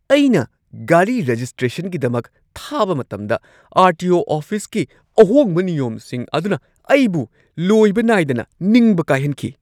ꯑꯩꯅ ꯒꯥꯔꯤ ꯔꯦꯖꯤꯁꯇ꯭ꯔꯦꯁꯟꯒꯤꯗꯃꯛ ꯊꯥꯕꯥ ꯃꯇꯝꯗ ꯑꯥꯔ. ꯇꯤ. ꯑꯣ. ꯑꯣꯐꯤꯁꯀꯤ ꯑꯍꯣꯡꯕ ꯅꯤꯌꯣꯝꯁꯤꯡ ꯑꯗꯨꯅ ꯑꯩꯕꯨ ꯂꯣꯏꯕ ꯅꯥꯢꯗꯅ ꯅꯤꯡꯕ ꯀꯥꯏꯍꯟꯈꯤ ꯫